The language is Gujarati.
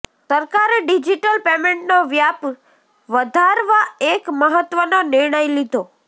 સરકારે ડિજીટલ પેમેન્ટનો વ્યાપ વધારવા એક મહત્વનો નિર્ણય લીધો